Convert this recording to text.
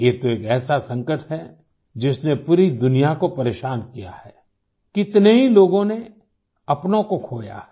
ये तो एक ऐसा संकट है जिसने पूरी दुनिया को परेशान किया है कितने ही लोगों ने अपनों को खोया है